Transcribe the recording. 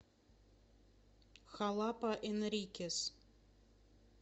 халапа энрикес